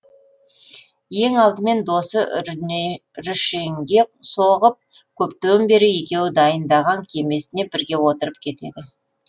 ең алдымен досы рүшенге соғып көптен бері екеуі дайындаған кемесіне бірге отырып кетеді